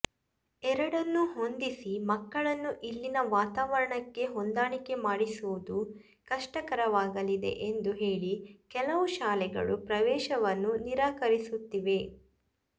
ಎರಡನ್ನೂ ಹೊಂದಿಸಿ ಮಕ್ಕಳನ್ನು ಇಲ್ಲಿನ ವಾತಾವರಣಕ್ಕೆ ಹೊಂದಾಣಿಕೆ ಮಾಡಿಸುವುದು ಕಷ್ಟಕರವಾಗಲಿದೆ ಎಂದು ಹೇಳಿ ಕೆಲವು ಶಾಲೆಗಳು ಪ್ರವೇಶವನ್ನು ನಿರಾಕರಿಸುತ್ತಿವೆ